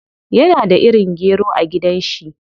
Yana da irin gero a gidan shi.